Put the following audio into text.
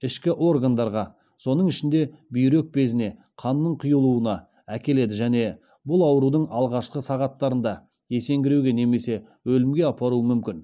ішкі органдарға соның ішінде бүйрек безіне қанның құйылуына әкеледі және бұл аурудың алғашқы сағаттарында есеңгіреуге немесе өлімге апаруы мүмкін